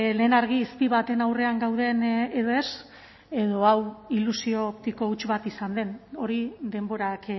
lehen argi izpi baten aurrean gauden edo ez edo hau ilusio optiko huts bat izan den hori denborak